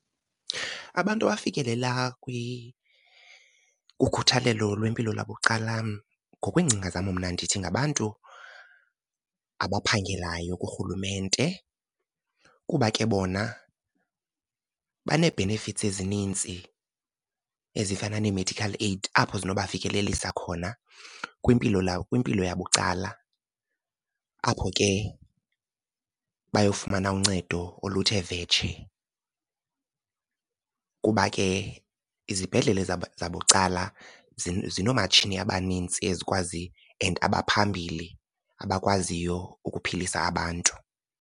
Abantu abafikelela kukhuthalelo lwempilo lwabucala ngokwengcinga zam mna ndithi ngabantu abaphangelayo kuRhulumente. Kuba ke bona banee-benefits ezininzi ezifana nee-medical aid apho zinokubafikelelisa khona kwimpilo , kwimpilo yabucala, apho ke bayofumana uncedo oluthe vetshe. Kuba ke izibhedlele zabucala zinomatshini abanintsi ezikwazi and abaphambili abakwaziyo ukuphilisa abantu.